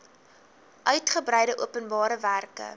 uitgebreide openbare werke